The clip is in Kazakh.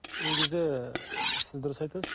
негізі сіз дұрыс айтасыз